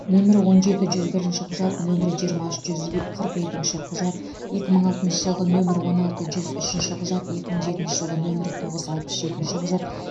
нөмірі он жеті жүз бірінші құжат нөмірі жиырма үш жүз е қырық екінші құжат екі мың алтыншы жылғы нөмірі он алты жүз үшінші құжат екі мың жетінші жылғы нөмірі тоғыз алпыс жетінші құжат